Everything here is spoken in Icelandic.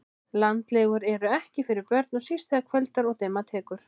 Landlegur eru ekkert fyrir börn og síst þegar kvöldar og dimma tekur